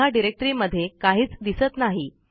बघा डिरेक्टरीमध्ये काहीच दिसत नाही